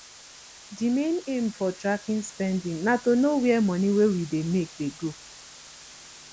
di main aim for tracking spending na to know where money wey we dey make dey go